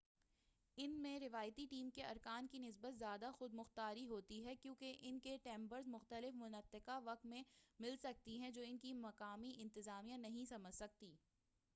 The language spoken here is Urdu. ان میں روایتی ٹیم کے ارکان کی نسبت زیادہ خود مختاری ہوتی ہے کیوں کہ ان کی ٹیمز مختلف منطقہ وقت میں مل سکتی ہیں جو ان کی مقامی انتظامیہ نہیں سمجھ سکتی